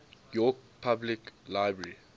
york public library